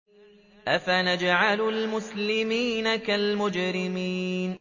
أَفَنَجْعَلُ الْمُسْلِمِينَ كَالْمُجْرِمِينَ